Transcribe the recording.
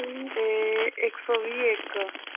ਤੇ ਇਕ ਸੋ ਵੀਹ ਇਕ l